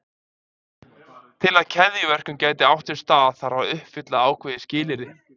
Til að keðjuverkun geti átt sér stað þarf að uppfylla ákveðið skilyrði.